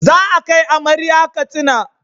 Za a kai amarya Katsina